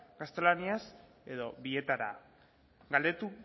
gaztelaniaz edo bietara galdetu